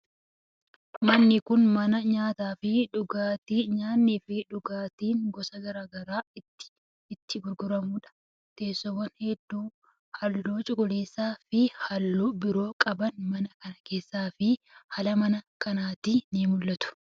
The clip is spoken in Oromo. Manni kun, mana nyaataa fi dhugaatii nyaanni fi dhugaatin gosa garaa garaa itti gurguramuu dha. Teessoowwan hedduun haalluu cuquliisa fi haalluu biroo qaban mana kana keessatti fi ala mana kanaatti ni mul'atu.